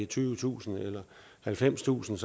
tyvetusind eller halvfemstusind